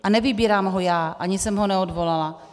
A nevybírám ho já, ani jsem ho neodvolala.